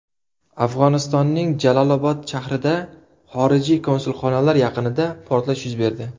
Afg‘onistonning Jalolobod shahrida xorijiy konsulxonalar yaqinida portlash yuz berdi.